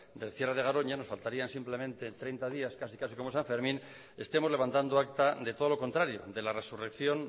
del cierre de garoña nos faltaría simplemente treinta días casi casi como san fermín estemos levantando acta de todo lo contrario de la resurrección